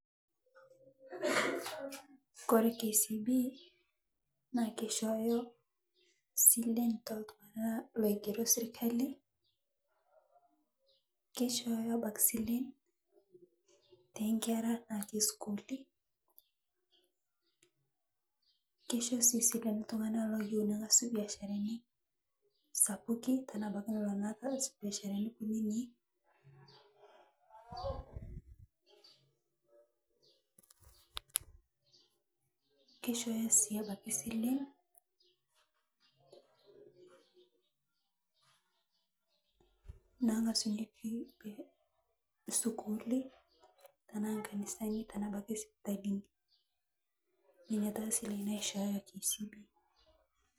Kore kcb naa keishooyo silen toltung'ana loigeroo sirkali keishooyo abaki silen tenkera natii sukuuli keisho sii sile ltung'ana loyeu nang'asu biasharani sapuki tanaa abaki lolo aas biasharani kuninii keishoyo sii abaki silen nang'asunyeki sukuuli tanaa nkanisani tanaa abaki sipitalinii nenia taa silen naishooyo kcb.